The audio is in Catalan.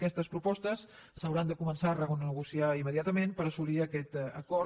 aquestes propostes s’hauran de començar a renegociar immediatament per assolir aquest acord